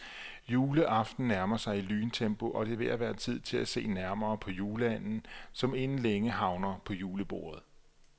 Juleaften nærmer sig i lyntempo, og det er ved at være tid til at se nærmere på juleanden, som inden længe havner på julebordet.